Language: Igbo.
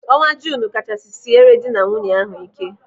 Ọnwa Junu kachasị siere dị na nwunye ahụ ike.